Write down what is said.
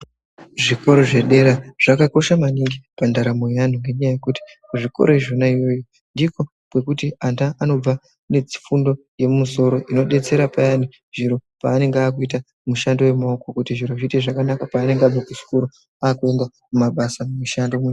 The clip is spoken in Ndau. Zvikora zvedera zvakakosha maningi pandaramo yeantu ngenyaya yekuti kuzvikora izvona iyoyo ndikwo kwekuti ana anobva nefundo yemumusoro inodetsera payani zviro paanonga aakuite mishando yemaoko kuti zviro zviite zvakanaka paanenge abva kuchikora akuende kumabasa mumishando.